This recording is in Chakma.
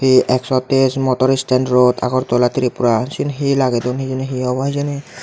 ei ekso tes motor stan road agartala tripura siyen hi lagedon hijeni hi obo hijeni.